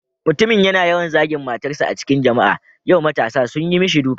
Mutumin yana yawan zagin matarsa a cikin jama'a, yau matasa sun yi mishi duka.